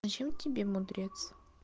зачем тебе мудрец